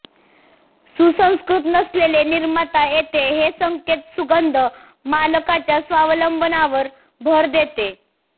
सुसंस्कृत नसलेले निर्माता येथे हे संकेत सुगंध मालकाच्या स्वावलंबनावर भर देते